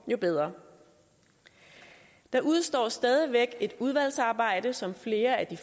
jo bedre der udestår stadig væk et udvalgsarbejde som flere af de